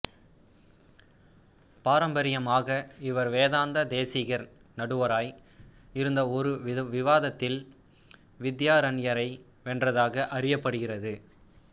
பாரம்பரியமாக இவர் வேதாந்த தேசிகர் நடுவராய் இருந்த ஒரு விவாதத்தில் வித்யாரண்யரை வென்றதாக அறியப்படுகிறது